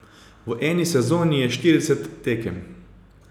V eni sezoni je štirideset tekem.